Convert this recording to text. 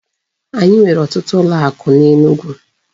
Anyị nwere otutu ụlọ akụ n'Enugu.